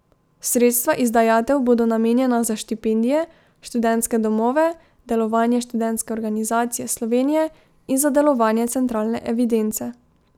Sredstva iz dajatev bodo namenjena za štipendije, študentske domove, delovanje Študentske organizacije Slovenije in za delovanje centralne evidence.